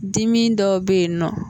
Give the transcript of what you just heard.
Dimi dɔ bɛ yen n nɔ